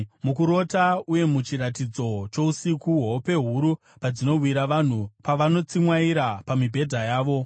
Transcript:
Mukurota, uye muchiratidzo chousiku, hope huru padzinowira vanhu, pavanotsimwaira pamibhedha yavo,